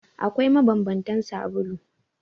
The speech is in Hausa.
Akwai mabanbantan sabulu.